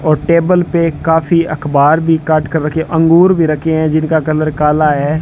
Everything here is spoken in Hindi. और टेबल पे काफी अखबार भी काट कर रखे अंगूर भी रखे है जिनका कलर काला है।